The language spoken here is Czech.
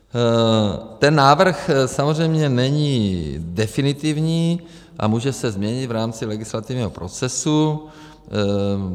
Ten návrh samozřejmě není definitivní a může se změnit v rámci legislativního procesu.